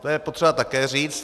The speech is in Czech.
To je potřeba také říct.